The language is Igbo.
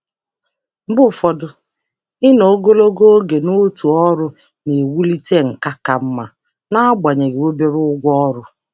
Mgbe um ụfọdụ, ịnọ ogologo oge n'otu um ọrụ na-ewulite nkà ka mma n'agbanyeghị ụgwọ ọrụ dị ala. um